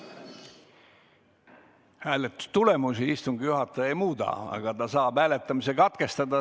Hääletustulemusi istungi juhataja ei muuda, aga ta saab hääletamise katkestada.